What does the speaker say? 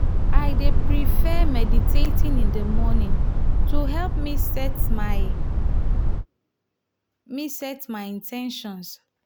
i dey prefer meditating in the morning to help me set my me set my in ten tions.